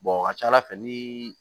a ka ca ala fɛ ni